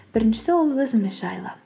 біріншісі ол өзіміз жайлы